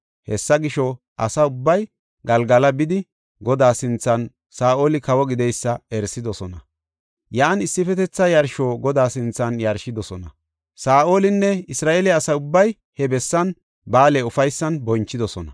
Hessa gisho, asa ubbay Galgala bidi, Godaa sinthan Saa7oli kawo gideysa erisidosona. Yan issifetetha yarsho Godaa sinthan yarshidosona. Saa7olinne Isra7eele asa ubbay he bessan ba7aale ufaysan bonchidosona.